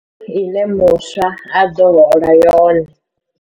Ine muswa a ḓo hola yone?